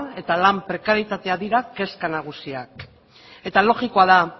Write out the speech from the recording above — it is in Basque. eta lan prekarietatea dira kezka nagusiak eta logikoa da